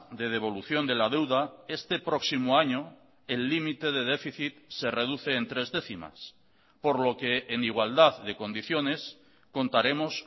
de devolución de la deuda este próximo año el límite de déficit se reduce en tres décimas por lo que en igualdad de condiciones contaremos